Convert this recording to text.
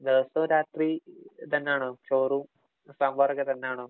ദിവസവും രാത്രി ഇതന്നാണോ? ചോറും, സാമ്പാറുമൊക്കെ തന്നാണോ?